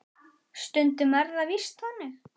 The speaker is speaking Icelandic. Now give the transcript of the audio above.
Stundum er það víst þannig.